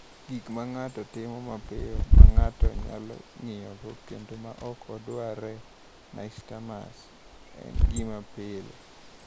Gik ma ng’ato timo mapiyo, ma ng’ato nyalo ng’iyogo, kendo ma ok odwarre (nystagmus) en gima pile.